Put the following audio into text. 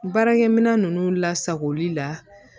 Baarakɛminɛn ninnu lasagoli la